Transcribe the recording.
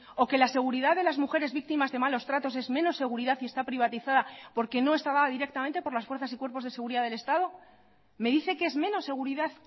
o que la seguridad de las mujeres víctimas de malos tratos es menos seguridad y está privatizada porque no estaba directamente por las fuerzas y cuerpos de seguridad del estado me dice que es menos seguridad